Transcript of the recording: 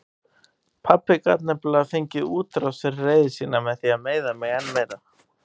Pabbi gat nefnilega fengið útrás fyrir reiði sína með því að meiða mig enn meira.